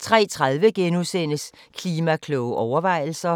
03:30: Klima-kloge overvejelser *